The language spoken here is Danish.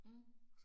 Mh